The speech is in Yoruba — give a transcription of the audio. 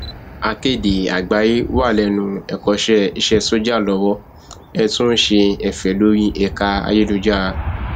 akéde àgbáyéé wà lẹnu ẹkọṣẹ iṣẹ sójà lowó ẹ tún ń ṣe ẹfẹ lórí ẹka ayélujára